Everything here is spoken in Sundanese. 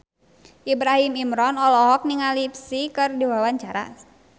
Ibrahim Imran olohok ningali Psy keur diwawancara